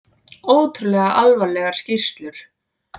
Ótrúlega alvarlegar skýrslur